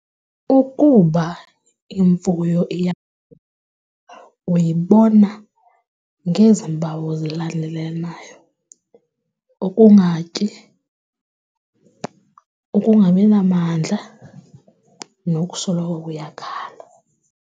Ikuba imfuyo uyibona ngezi mpawu zilandelanayo, ukungatyi, ukungabi namandla nokusoloko iyakhala.